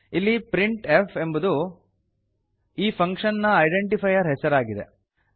ಇಲ್ಲಿ printf ಎಂಬುದು ಈ ಫಂಕ್ಷನ್ ನ ಐಡೆಂಟಿಫೈರ್ ಹೆಸರಾಗಿದೆ